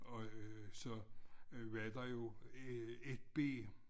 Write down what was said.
Og så var der jo 1B